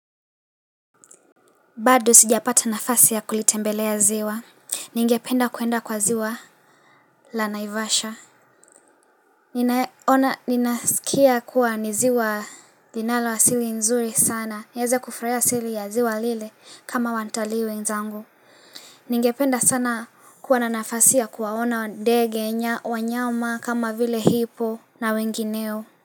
Bado sijapata nafasi ya kulitembelea ziwa Ningependa kuenda kwa ziwa la naivasha Ninaona ninasikia kuwa ni ziwa linalo asili nzuri sana nieze kufraea sili ya ziwa lile kama wantali wenzangu Ningependa sana kuwa na nafasi ya kuwaona ndege wanyama kama vile hipoo na wengineo.